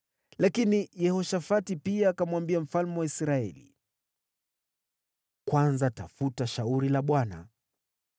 Lakini Yehoshafati pia akamwambia mfalme wa Israeli, “Kwanza tafuta shauri la Bwana .”